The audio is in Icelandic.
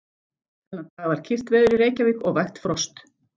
Þennan dag var kyrrt veður í Reykjavík og vægt frost.